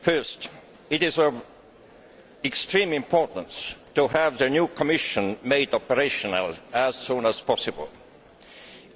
First, it is of extreme importance to have the new Commission made operational as soon as possible.